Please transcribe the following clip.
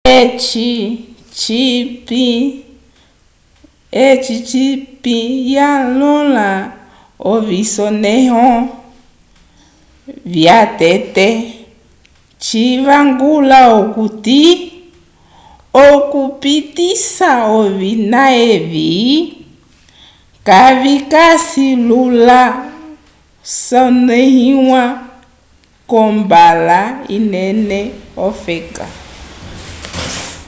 eci cipinyanyõha ovisonẽho vyatete civangula okuti okupitisa ovina evi kavikasi lula vyasoneiwa kombala inene ofeka